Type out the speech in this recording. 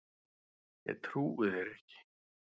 Ég trúi þér ekki